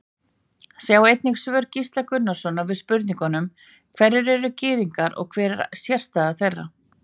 Sjá einnig svör Gísla Gunnarssonar við spurningunum Hverjir eru Gyðingar og hver er sérstaða þeirra?